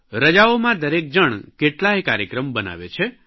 રજાઓમાં દરેક જણ કેટલાય કાર્યક્રમ બનાવે છે